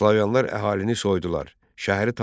Slavyanlar əhalini soydular, şəhəri talan etdilər.